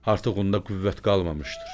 Artıq onda qüvvət qalmamışdır.